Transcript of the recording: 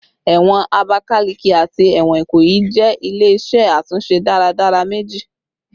Ẹwọn Abakaleke ati ẹwọn Ikoyi jẹ ile-iṣẹ atunṣe daradara meji